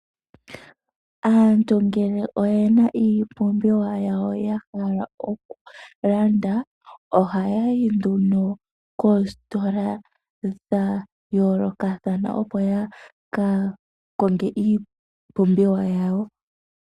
Aantu ngele oye na iipumbiwa yawo ya hala okulanda, ohaya yi nduno koositola dha yoolokathana opo ya ka konge iipumbiwa yawo.